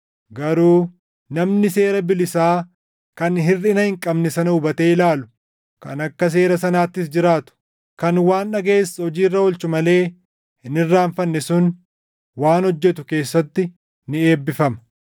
Garuu namni seera bilisaa kan hirʼina hin qabne sana hubatee ilaalu, kan akka seera sanaattis jiraatu, kan waan dhagaʼes hojii irra oolchuu malee hin irraanfanne sun waan hojjetu keessatti ni eebbifama.